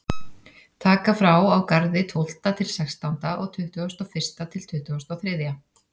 Taka frá á Garði tólfta til sextánda og tuttugasta og fyrsta til tuttugasta og þriðja.